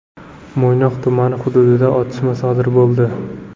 Mo‘ynoq tumani hududida otishma sodir bo‘ldi.